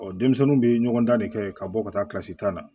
denmisɛnninw bɛ ɲɔgɔn dan de kɛ ka bɔ ka taa kilasi tan na